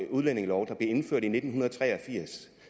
udlændingelov der blev indført i nitten tre og firs